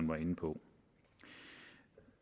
var inde på